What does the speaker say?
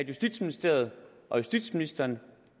justitsministeriet og justitsministeren